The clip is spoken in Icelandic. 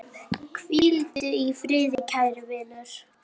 Hvíldu í friði, kæri vinur.